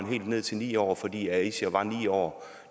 helt ned til ni år fordi aisha var ni år